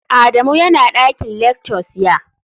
Adamu yana dakin lectures, ya?